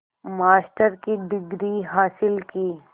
master की degree हासिल की